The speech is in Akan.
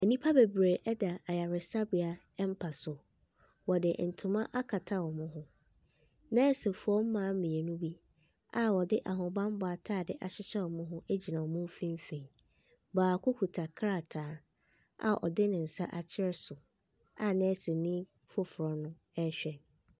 Nnipa bebree ɛda asresabea mpa so. Wɔde ntoma akata wɔn ho. Nɛɛsefoɔ mmaa mmienu bi a wɔde ahobanmmɔ ataade ahyehyɛ wɔn ho gyina wɔn mfimfin. Baako kita krataa a ɔde ne nsa akyerɛ so a nɛɛseni foforɔ rehwɛ.